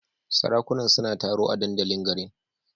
Sarakunan suna taro a dandalin garin.